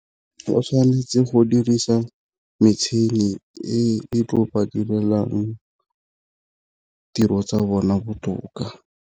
O tshwanetse go dirisa metšhini e e tlo ba direlang tiro tsa bona botoka.